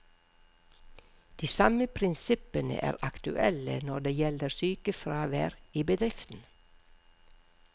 De samme prinsippene er aktuelle når det gjelder sykefravær i bedriften.